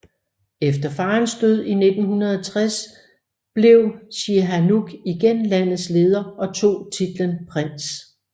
Efter faderens død i 1960 blev Sihanouk igen landets leder og tog titlen prins